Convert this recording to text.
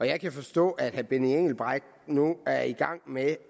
jeg kan forstå at herre benny engelbrecht nu er i gang med